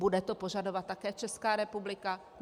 Bude to požadovat také Česká republika?